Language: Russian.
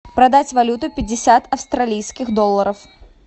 продать валюту пятьдесят австралийских долларов